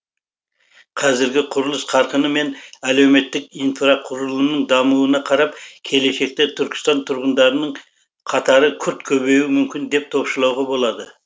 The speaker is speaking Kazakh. қазіргі құрылыс қарқыны мен әлеуметтік инфрақұрылымның дамуына қарап келешекте түркістан тұрғындарының қатары күрт көбеюі мүмкін деп топшылауға болады